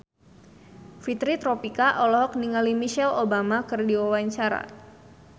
Fitri Tropika olohok ningali Michelle Obama keur diwawancara